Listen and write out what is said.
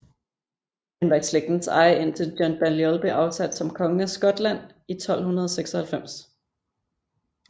Den var i slægtens eje indtil John Balliol blev afsat som konge af Skotland i 1296